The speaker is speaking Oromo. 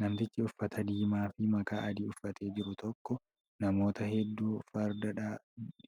Namtichi uffata diimaa fi makaa adii uffatee jiru tokko namoota hedduu farda